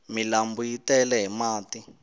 milambu yi tele hi mati